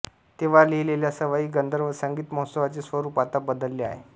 तेव्हा लिहिलेल्या सवाई गंधर्व संगीत महोत्सवाचे स्वरूप आता बदलले आहे